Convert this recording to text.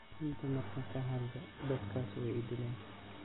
Runta marka kahadhlo dhadhkas waiidhileen.